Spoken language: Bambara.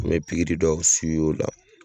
N be pigiri dɔw siwi o la